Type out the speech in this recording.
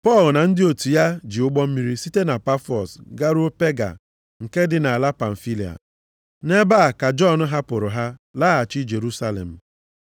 Pọl na ndị otu ya ji ụgbọ mmiri site na Pafọs garuo Pega nke dị nʼala Pamfilia. Nʼebe a ka Jọn hapụrụ ha laghachi Jerusalem.